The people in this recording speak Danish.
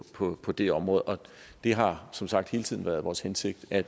på på det område og det har som sagt hele tiden været vores hensigt at